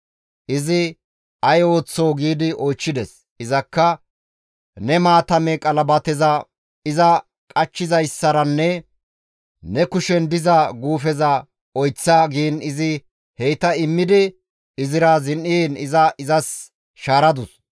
Izi, «Ay oyththoo?» gi iza oychchides. Izakka, «Ne maatame qalabateza iza qachchizayssaranne ne kushen diza guufeza oyththa» giin izi heyta immidi izira zin7iin iza izas shaaradus.